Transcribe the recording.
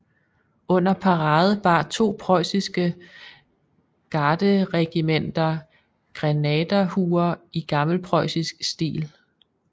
Under parade bar to preussiske garderegimenter grenaderhuer i gammelpreussisk stil